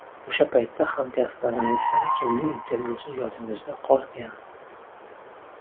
O‘sha paytda hamkasblaringizdan kimning intervyusi yodingizda qolgan?